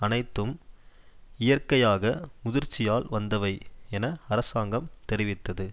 அனைத்தும் இயற்கையாக முதிர்ச்சியால் வந்தவை என அரசாங்கம் தெரிவித்தது